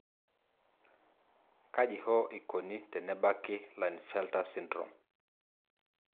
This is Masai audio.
kaji hoo ikoni tenebaki Klinefelter syndrome?